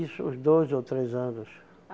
Isso, uns dois ou três anos.